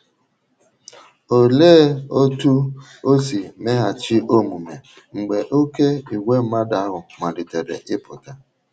Olee otú o si meghachi omume mgbe oké ìgwè mmadụ ahụ malitere ịpụta?